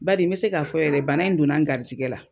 Badi n be se ka fɔ yɛrɛ bana in donna n garijɛgɛ la.